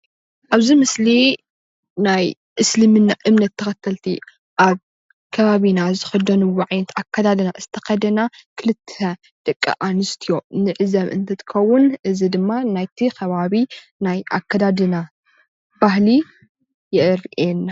ኣብዚ ምስሊ ናይ እስልምና እምነት ተኸተልቲ አብ ከባቢና ዝኽደንዎ ዓይነት ኣከዳድና የርእየና።